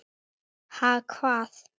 Ha, hvað?